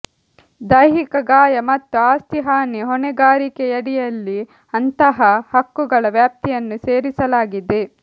ದೈಹಿಕ ಗಾಯ ಮತ್ತು ಆಸ್ತಿ ಹಾನಿ ಹೊಣೆಗಾರಿಕೆಯಡಿಯಲ್ಲಿ ಅಂತಹ ಹಕ್ಕುಗಳ ವ್ಯಾಪ್ತಿಯನ್ನು ಸೇರಿಸಲಾಗಿದೆ